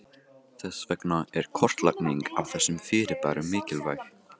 Þess vegna er kortlagning á þessum fyrirbærum mikilvæg.